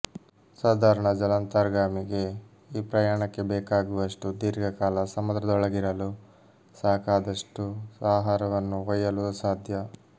ಸಾಧಾರಣ ಜಲಾಂತರ್ಗಾಮಿಗೆ ಈ ಪ್ರಯಾಣಕ್ಕೆ ಬೇಕಾಗುವಷ್ಟು ದೀರ್ಘಕಾಲ ಸಮುದ್ರದೊಳಗಿರಲೂ ಸಾಕಾದಷ್ಟು ಆಹಾರವನ್ನು ಒಯ್ಯಲೂ ಅಸಾಧ್ಯ